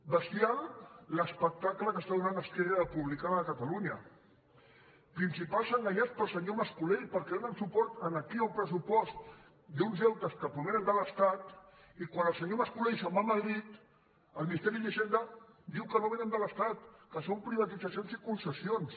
bestial l’espectacle que dóna esquerra republicana de catalunya principals enganyats pel senyor mascolell perquè donen suport aquí a un pressupost d’uns deutes que provenen de l’estat i quan el senyor mascolell se’n va a madrid al ministeri d’hisenda diu que no vénen de l’estat que són privatitzacions i concessions